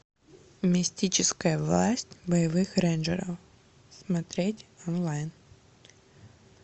мистическая власть боевых рейнджеров смотреть онлайн